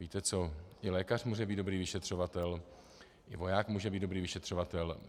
Víte co, i lékař může být dobrý vyšetřovatel, i voják může být dobrý vyšetřovatel.